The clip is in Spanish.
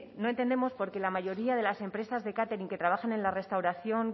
no entendemos porque la mayoría de las empresas de catering trabajen en la restauración